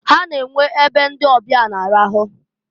Ha na-enwe e be ndị ọbịa na-arahụ.